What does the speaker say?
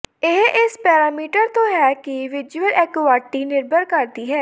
ਇਹ ਇਸ ਪੈਰਾਮੀਟਰ ਤੋਂ ਹੈ ਕਿ ਵਿਜ਼ੂਅਲ ਐਕੁਆਟੀ ਨਿਰਭਰ ਕਰਦੀ ਹੈ